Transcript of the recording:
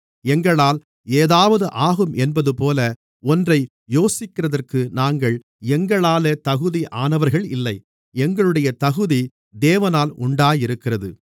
எங்களால் ஏதாவது ஆகும் என்பதுபோல ஒன்றை யோசிக்கிறதற்கு நாங்கள் எங்களாலே தகுதியானவர்கள் இல்லை எங்களுடைய தகுதி தேவனால் உண்டாயிருக்கிறது